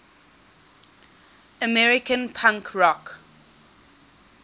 american punk rock